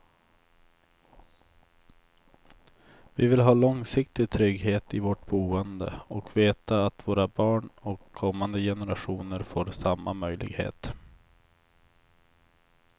Vi vill ha långsiktig trygghet i vårt boende och veta att våra barn och kommande generationer får samma möjlighet.